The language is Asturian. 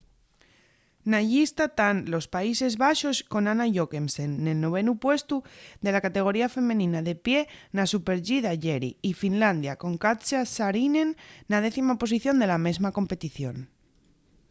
na llista tán los países baxos con anna jochemsen nel novenu puestu de la categoría femenina de pie na super-g d'ayeri y finlandia con katja saarinen na décima posición de la mesma competición